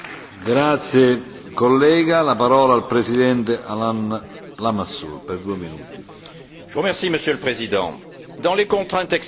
Monsieur le Président, dans les contraintes exceptionnelles de cette année, l'accord intervenu sur le projet de budget 2011 est le meilleur compromis possible.